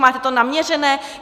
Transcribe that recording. Máte to naměřené?